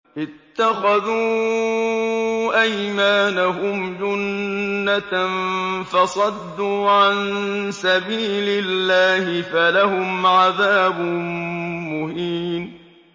اتَّخَذُوا أَيْمَانَهُمْ جُنَّةً فَصَدُّوا عَن سَبِيلِ اللَّهِ فَلَهُمْ عَذَابٌ مُّهِينٌ